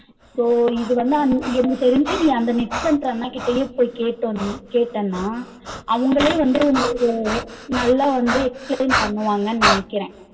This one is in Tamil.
So இது வந்து எனக்கு தெரிஞ்சு நீ அந்த net center அந்த அண்ணா கிட்டயே போ கேட்ட கேட்டனா அவங்களே வந்து உனக்கு நல்லா வந்து explain பண்ணுவாங்கனு நினைக்குறேன்